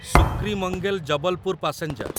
ସୁକ୍ରିମଙ୍ଗେଲ Jabalpur passenger